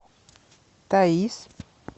таиз